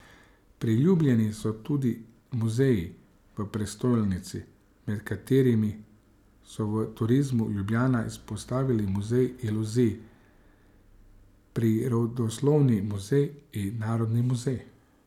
Priljubljeni so tudi muzeji v prestolnici, med katerimi so v Turizmu Ljubljana izpostavili Muzej iluzij, prirodoslovni muzej in Narodni muzej.